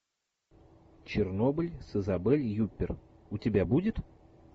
чернобыль с изабель юппер у тебя будет